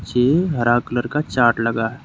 ये हरा कलर का चार्ट लगा है।